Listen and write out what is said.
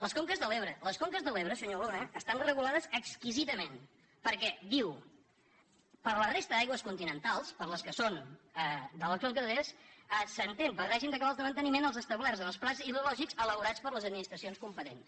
les conques de l’ebre les conques de l’ebre senyor luna estan regulades exquisidament perquè diu per a la resta d’aigües continentals per a les que són de les conques internes s’entén per règim de cabals de manteniment els establerts en els plans hidrològics elaborats per les administracions competents